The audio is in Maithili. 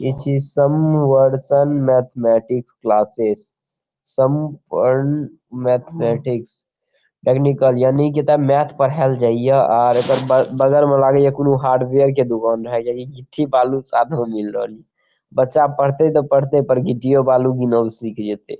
ई छी संवर्षन mathematics classes Samarpan mathematics technical यानी कि एता मैथ पढ़ायल जाय या आर एकर बग-बगल में लागे या कुनू हार्डवेयर के दूकान या यानि गिट्टी-बालू साथ में मील रहल या बच्चा पढ़ते त पढ़ते पर गिट्टियों बालू गिनब सिख जेयते ।